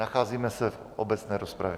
Nacházíme se v obecné rozpravě.